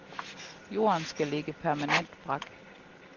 Jorden skal ligge permanent brak.